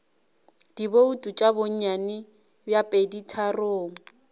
dibouto tša bonnyane bja peditharong